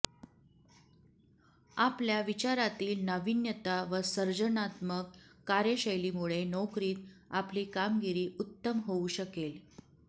आपल्या विचारातील नावीन्यता व सर्जनात्मक कार्यशैलीमुळे नोकरीत आपली कामगिरी उत्तम होऊ शकेल